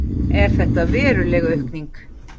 Er þetta veruleg aukning?